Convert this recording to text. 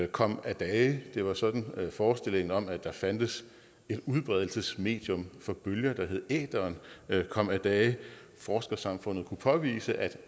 kom af dage det var sådan forestillingen om at der fandtes et udbredelsesmedium for bølger der hed æteren kom af dage forskersamfundet kunne påvise at